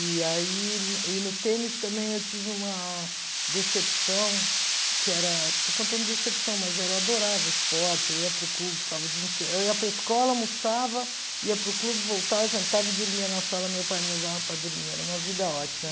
E aí e e no tênis também eu tive uma decepção, que era, estou contando decepção, mas era eu adorava esporte, eu ia para o clube, ficava o dia inteiro, eu ia para a escola, almoçava, ia para o clube, voltava, jantava e dormia na sala, meu pai me levava para dormir, era uma vida ótima.